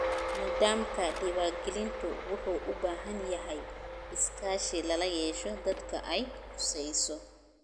Nidaamka diiwaangelintu wuxuu u baahan yahay iskaashi lala yeesho dadka ay khusayso.